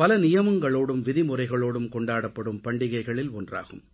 பல நியமங்களோடும் விதிமுறைகளோடும் கொண்டாடப்படும் பண்டிகைகளில் ஒன்றாகும்